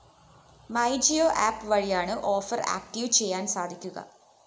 my Jio app വഴിയാണ് offer active ചെയ്യാന്‍ സാധിക്കുക